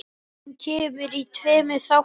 Hún kemur í tveimur þáttum.